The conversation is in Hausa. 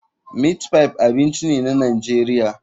Meatpie abinci ne na Najeriya.